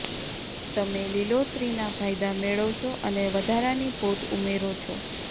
તમે લીલોતરીના ફાયદા મેળવશો અને વધારાની પોત ઉમેરો છો